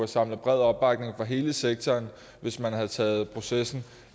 samlet bred opbakning fra hele sektoren hvis man havde taget processen